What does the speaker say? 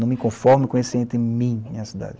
Não me conformo com esse entre mim e a cidade.